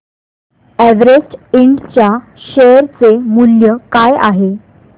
Everest Ind च्या share चे मूल्य काय आहे